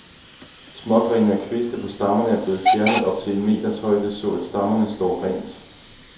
Smågrene og kviste på stammerne er blevet fjernet op til en meters højde, så at stammerne står rent.